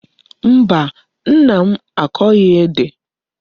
Mba, Nna m akoghi Ede